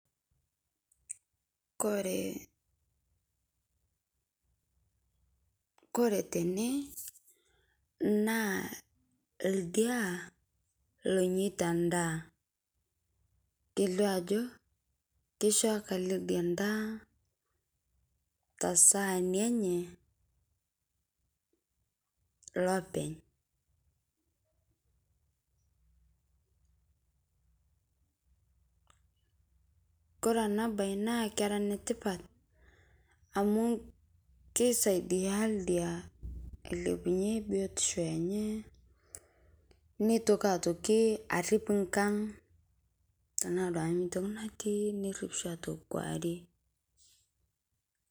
Kore, kore tene naa ldiaa loinyetaa ndaa keileo ajoo keishooki ale ldiaa ta sahani enye lopeny'. Kore ana bayi naa kera netipaat amu keisaidia ldiaa ailepunye biotisho enye, neitokii aitokii ariip nkaang' tana duake ntokii natii neriip shii aitokii nkuarie.